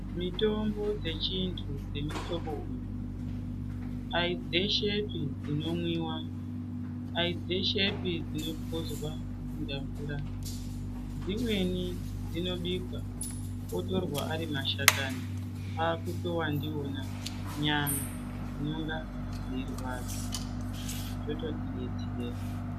Mitombo dzechintu dzemuhlobo uyu dai dzeshepi dzinomwiva dai dzeshepi dzinopuzwa kunga mvura. Dzimweni dzinobikwa otorwa ari mashakani kwakutova ndivona nyama dzinonga dzeirwadza zvototibetsera.